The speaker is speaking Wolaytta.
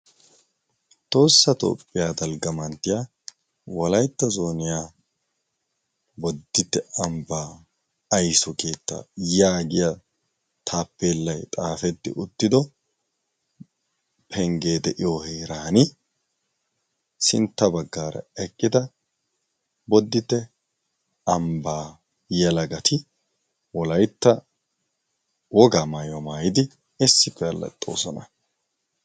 Tohossa toophphiyaa dalgga manttiyaa wolaytta zooniyaa boddite ambbaa ayssuo keetta yaagiya taappeellay xaafetdi uttido penggee de7iyo heeran sintta baggaara eqqida bodite ambbaa yelaggati wolaytta woga maayuwa maayidi issippe allaxxoosona.